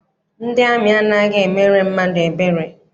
Ndị amị anaghị emere mmadụ ebere.